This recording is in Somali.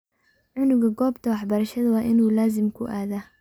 Cunuga gobta waxbarashada wa inu lazim kuuaadha.